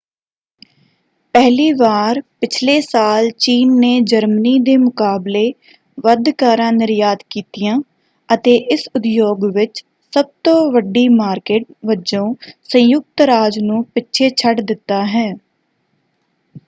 ਪਹਿਲੀ ਵਾਰ ਪਿਛਲੇ ਸਾਲ ਚੀਨ ਨੇ ਜਰਮਨੀ ਦੇ ਮੁਕਾਬਲੇ ਵੱਧ ਕਾਰਾਂ ਨਿਰਯਾਤ ਕੀਤੀਆਂ ਅਤੇ ਇਸ ਉਦਯੋਗ ਵਿੱਚ ਸਭ ਤੋਂ ਵੱਡੀ ਮਾਰਕਿਟ ਵਜੋਂ ਸੰਯੁਕਤ ਰਾਜ ਨੂੰ ਪਿੱਛੇ ਛੱਡ ਦਿੱਤਾ ਹੈ।